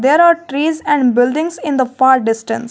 there are trees and buildings in the far distance.